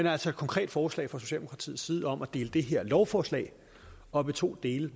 er altså et konkret forslag fra socialdemokratiets side om at dele det her lovforslag op i to dele